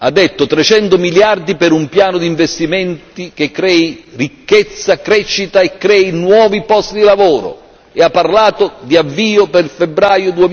Ha detto 300 miliardi per un piano di investimenti che crei ricchezza, crescita e nuovi posti di lavoro e ha parlato di avvio per febbraio